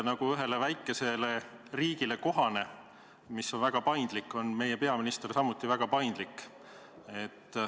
Nagu ühele väikesele paindlikule riigile kohane, on meie peaminister samuti väga paindlik.